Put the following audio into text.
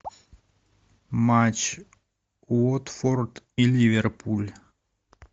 матч уотфорд и ливерпуль